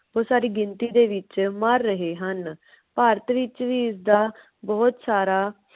ਬੋਹਤ ਸਾਰੀ ਗਿਣਤੀ ਦੇ ਵਿਚ ਮਰ ਰਹੇ ਹਨ। ਭਾਰਤ ਵਿਚ ਵੀ ਇਸਦਾ ਬਹੁਤ ਸਾਰਾ